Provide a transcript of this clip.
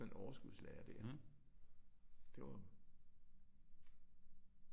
Sådan et overskudslager der. Det var jo